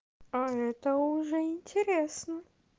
а это уже интересно